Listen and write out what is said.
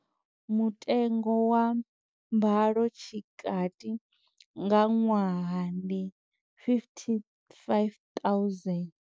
Mutengo wa mbalo tshikati nga ṅwaha ndi R55 000.